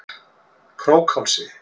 Krókhálsi